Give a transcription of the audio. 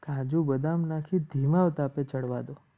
કાજુ બદામ નાખી ધીમા તાપે ચડવા દો.